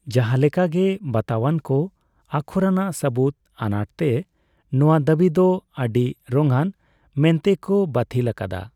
ᱡᱟᱦᱟᱸ ᱞᱮᱠᱟᱜᱮ, ᱵᱟᱛᱟᱣᱟᱱ ᱠᱚ ᱟᱠᱷᱚᱨᱟᱱᱟᱜ ᱥᱟᱹᱵᱩᱫᱽ ᱟᱱᱟᱴᱛᱮ, ᱱᱚᱣᱟ ᱫᱟᱵᱤ ᱫᱚ ᱟᱰᱤᱨᱚᱝᱭᱟᱱ ᱢᱮᱱᱛᱮ ᱠᱚ ᱵᱟᱹᱛᱷᱤᱞ ᱟᱠᱟᱫᱟ ᱾